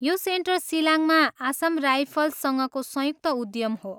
यो सेन्टर सिलाङमा आसाम राइफल्ससँगको संयुक्त उद्यम हो।